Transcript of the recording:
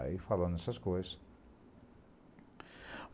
Aí falando essas coisas.